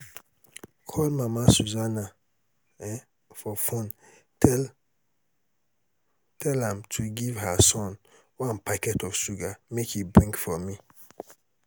call mama susanna um for phone tell tell am to give her son one packet of sugar make he bring for me